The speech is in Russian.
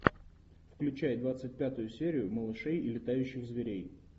включай двадцать пятую серию малышей и летающих зверей